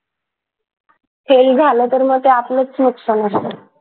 fail झालं तर मग आपलंच नुकसान होणारे